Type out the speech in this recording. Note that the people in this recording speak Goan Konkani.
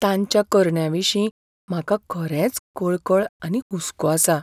तांच्या करण्यांविशीं म्हाका खरेंच कळकळ आनी हुस्को आसा.